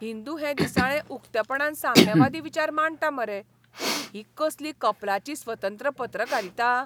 हिंदू हें दिसाळें उक्तेपणान साम्यवादी विचार मांडटा मरे, ही कसली कपलाची स्वतंत्र पत्रकारिता!